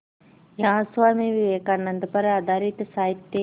यहाँ स्वामी विवेकानंद पर आधारित साहित्य